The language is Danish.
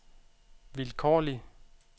vilkårlig